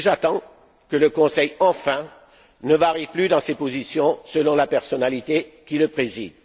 Et j'attends qu'enfin le Conseil ne varie plus dans ses positions selon la personnalité qui le préside.